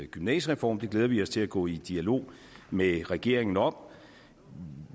gymnasiereform det glæder vi os til at gå i dialog med regeringen om